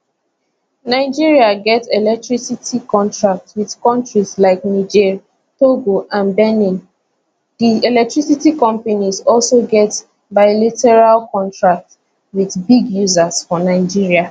nigeria get electricity contracts wit kontries like niger togo and benin di electricity companies also get bilateral contracts wit big users for nigeria